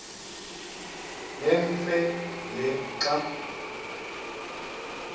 nemfe le xa